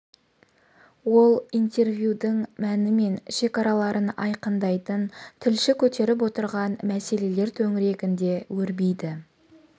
ол интервьюдің мәні мен шекараларын айқындайтын тілші көтеріп отырған мәселелер төңірегінде өрбиді